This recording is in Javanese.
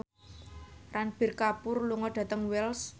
Ranbir Kapoor lunga dhateng Wells